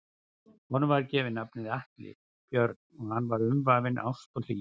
Honum var gefið nafnið Atli Björn og hann var umvafinn ást og hlýju.